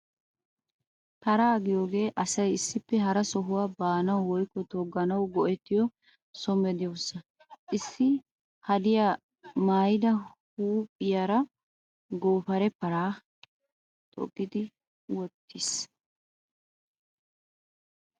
Paraa giyoogee asay issippe hara sohuwaa baanawu woykko toggawu go"ettiyoo so meedoosa. Issi hadiyaa maayida huuphiyaara goofaree paraa toggi wottiis